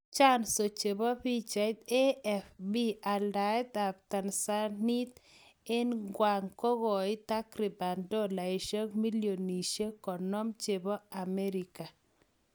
chanzo chepo pichait, AFP aldaet ap Tanzanite en kwang kokoit tarkiban dolaishek millionishek 50 chepo amerika